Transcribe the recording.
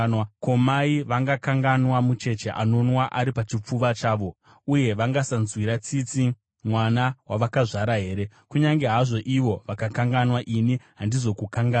“Ko, mai vangakanganwa mucheche anonwa ari pachipfuva chavo, uye vangasanzwira tsitsi mwana wavakazvara here? Kunyange hazvo ivo vakakanganwa, ini handizokukanganwi!